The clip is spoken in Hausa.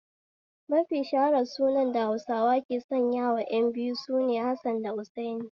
Mafi shaharan sunan da Hausawa ke sanyawa ƴan biyu sune 'Hassan da Hussaini'